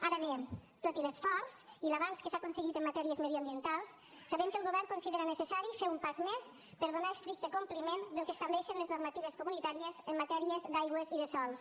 ara bé tot i l’esforç i l’avanç que s’ha aconseguit en matèries mediambientals sabem que el govern considera necessari fer un pas més per donar estricte compliment al que estableixen les normatives comunitàries en matèries d’aigües i de sòls